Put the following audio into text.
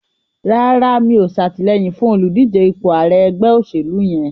Rárá, mi ò ṣàtìlẹyìn fún olùdíje ipò ààrẹ ẹgbẹ́ òṣèlú yẹn.